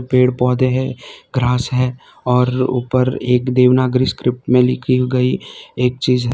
पेड़ पौधे हैं ग्रास है और ऊपर एक देवनागरी स्क्रिप्ट में लिखी गई एक चीज --